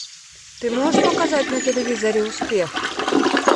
ты можешь показать на телевизоре успех